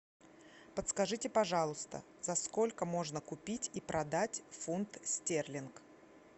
подскажите пожалуйста за сколько можно купить и продать фунт стерлинг